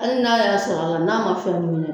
Hali n'a y'a sɔrɔ a la n'a ma fɛn mun ye